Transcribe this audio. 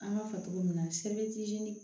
An b'a fɔ cogo min na